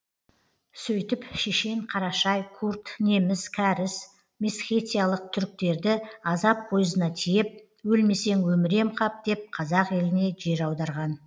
сөйтіп шешен қарашай курд неміс кәріс месхетиялық түріктерді азап пойызына тиеп өлмесең өмірем қап деп қазақ еліне жер аударған